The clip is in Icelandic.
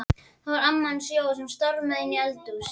Það var amma hans Jóa sem stormaði inn í eldhúsið.